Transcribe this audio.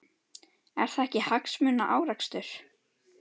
Er það ekki hagsmunaárekstur?